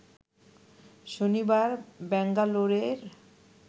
শনিবার ব্যাঙ্গালোরের